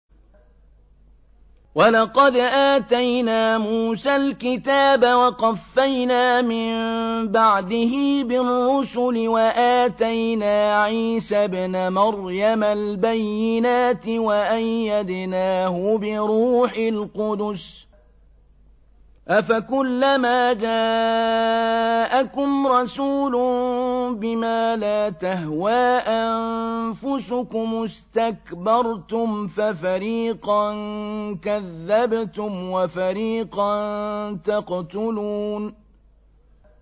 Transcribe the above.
وَلَقَدْ آتَيْنَا مُوسَى الْكِتَابَ وَقَفَّيْنَا مِن بَعْدِهِ بِالرُّسُلِ ۖ وَآتَيْنَا عِيسَى ابْنَ مَرْيَمَ الْبَيِّنَاتِ وَأَيَّدْنَاهُ بِرُوحِ الْقُدُسِ ۗ أَفَكُلَّمَا جَاءَكُمْ رَسُولٌ بِمَا لَا تَهْوَىٰ أَنفُسُكُمُ اسْتَكْبَرْتُمْ فَفَرِيقًا كَذَّبْتُمْ وَفَرِيقًا تَقْتُلُونَ